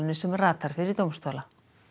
sem ratar fyrir dómstóla